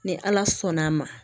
Ni ala sɔnn' a ma